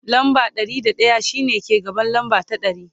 lamba Ɗari da daya shine ke gaban lamba ta ɗari